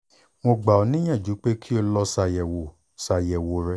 mo gbà ọ níyànjú pé kó o lọ ṣàyẹ̀wò ṣàyẹ̀wò rẹ